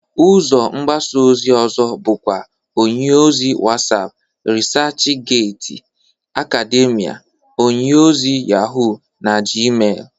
Ụzọ mgbasa ozi ọzọ bụkwa onyeozi Whatsap, Resachgati, Akademia, onyeozi Yahụ, na Gmel.